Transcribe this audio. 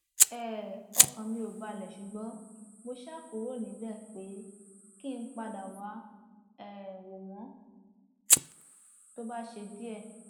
um ọkàn mi ò balẹ ṣùgbọn mo ṣáà kúrò níbẹ pé kí n padà wàá um wò wọn tó bá ṣe díẹ